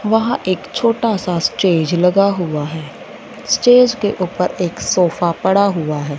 वहां एक छोटा सा स्टेज लगा हुआ है स्टेज के ऊपर एक सोफा पड़ा हुआ है।